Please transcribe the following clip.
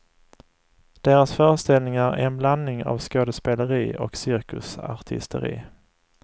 Deras föreställningar är en blandning av skådespeleri och cirkusartisteri.